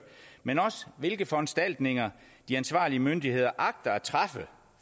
men også hvilke foranstaltninger de ansvarlige myndigheder agter at træffe